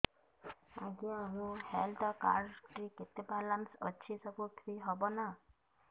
ଆଜ୍ଞା ମୋ health card ରେ କେତେ ବାଲାନ୍ସ ଅଛି ସବୁ ଫ୍ରି ହବ ନାଁ